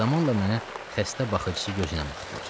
Zamanla mənə xəstə baxıcısı gözü ilə baxırdılar.